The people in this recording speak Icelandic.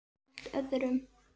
Allt öðrum.